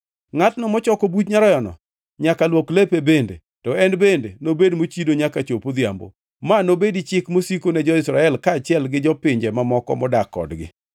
Ngʼatno mochoko buch nyaroyano nyaka luok lepe bende, to en bende nobed mochido nyaka chop odhiambo. Ma nobedi chik mosiko ne jo-Israel kaachiel gi jopinje mamoko modak kodgi.